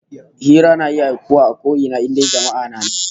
Hira na iya aukuwa kusan a ko ina, in dai jama'a na nan